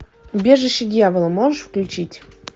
убежище дьявола можешь включить